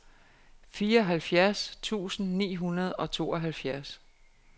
fireoghalvfjerds tusind ni hundrede og tooghalvfjerds